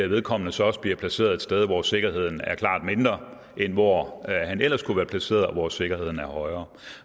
vedkommende så også bliver placeret et sted hvor sikkerheden er klart mindre end hvor han ellers kunne være placeret og hvor sikkerheden er højere